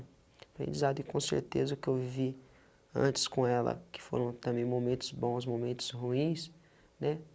Aprendizado e com certeza o que eu vivi antes com ela, que foram também momentos bons, momentos ruins, né?